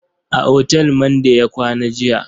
A otal Mande ya kwana jiya.